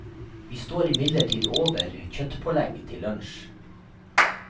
Vi står imidlertid over kjøttpålegg til lunsj.